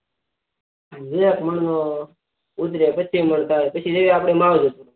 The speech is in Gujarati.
એક મણ નો ઉતરે પચીસ મણ થાય પછી જેવી આપડી આવડત